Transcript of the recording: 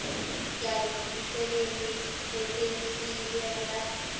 kanye netisebenti letisebenta